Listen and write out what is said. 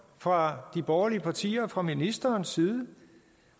fra de borgerlige partiers og ministerens side